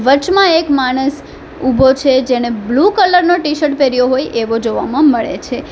વચમાં એક માણસ ઉભો છે જેણે બ્લુ કલર નો ટીશર્ટ પહેર્યો હોય એવો જોવામાં મળે છે.